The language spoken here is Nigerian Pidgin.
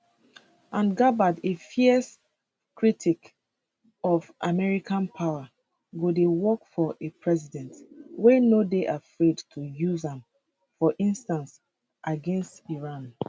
and gabbard a fierce critic of american power go dey work for a president wey no dey afraid to use am for instance against iran